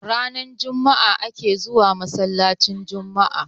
ranar Juma'a ake zuwa masallacin Juma'a